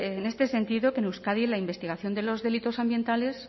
en este sentido que en euskadi en la investigación de los delitos ambientales